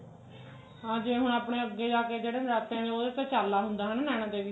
ਹਾਂ ਜਿਵੇਂ ਹੁਣ ਆਪਣੇ ਅੱਗੇ ਜਾ ਕਿ ਜਿਹੜੇ ਨਰਾਤੇ ਉਹਦੋਂ ਤਾਂ ਚਾਲਾ ਹੁੰਦਾ ਨੈਣਾ ਦੇਵੀ ਦਾ